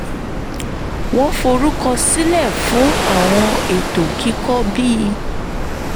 wọ́n forúkọ sílẹ̀ fún àwọn ètò kíkọ bí